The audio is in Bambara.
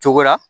Cogo la